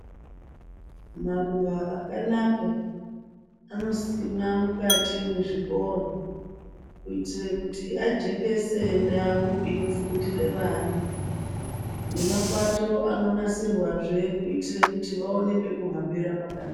Maruwa akanaka anosimwa mukati mwezvikora kuitire kuti ajekese ndau inofundire vana nemapato anonasirwazve kuitire kuti vaone pekuhambira pakanaka.